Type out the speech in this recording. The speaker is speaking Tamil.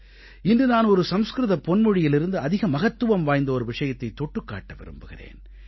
இன்று நான் ஒரு சம்ஸ்க்ருத பொன்மொழியிலிருந்து அதிக மகத்துவம் வாய்ந்த ஒரு விஷயத்தைத் தொட்டுக் காட்ட விரும்புகிறேன்